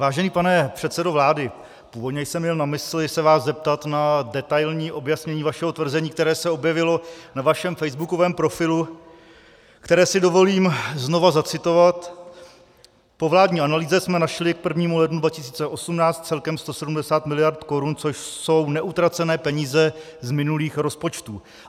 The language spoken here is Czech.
Vážený pane předsedo vlády, původně jsem měl na mysli se vás zeptat na detailní objasnění vašeho tvrzení, které se objevilo na vašem facebookovém profilu, které si dovolím znovu zacitovat: "Po vládní analýze jsme našli k 1. lednu 2018 celkem 170 miliard korun, což jsou neutracené peníze z minulých rozpočtů."